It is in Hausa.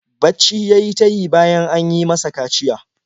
Bacci ya yi ta yi bayan an yi masa kaciya.